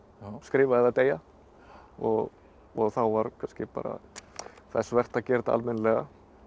skrifa eða deyja og og þá var kannski bara þess vert að gera þetta almennilega